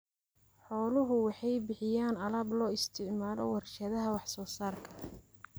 Xooluhu waxay bixiyaan alaab loo isticmaalo warshadaha wax soo saarka.